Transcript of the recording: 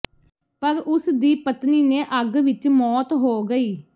ਪਰ ਉਸ ਦੀ ਪਤਨੀ ਨੇ ਅੱਗ ਵਿੱਚ ਮੌਤ ਹੋ ਗਈ